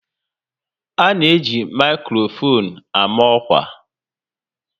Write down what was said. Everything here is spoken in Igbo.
A na eji maikrofon ama ọkwa